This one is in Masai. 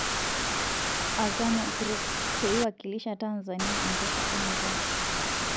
Azania Group, peiwakilisha Tanzania enkesha e murua.